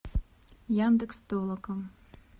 яндекс толока